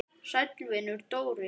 Sæll vinur, Dóri!